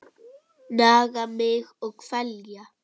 Naga mig og kvelja.